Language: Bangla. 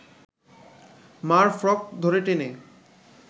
মা’র ফ্রক ধরে টেনে